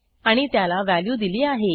आणि त्याला व्हॅल्यू दिली आहे